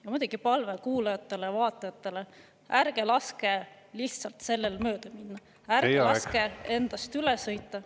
No muidugi palve kuulajatele-vaatajatele: ärge laske lihtsalt sellel mööda minna, ärge laske endast üle sõita.